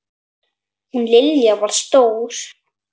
Hún Lilja var stór.